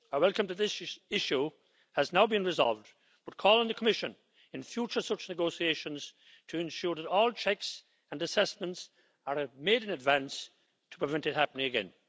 I welcome that this issue has now been resolved, but call on the Commission in future such negotiations to ensure that all checks and assessments are made in advance to prevent it happening again.